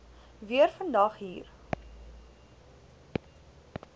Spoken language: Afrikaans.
weer vandag hier